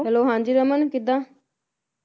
Hello ਹਾਂਜੀ ਰਮਨ ਕਿਦਾਂ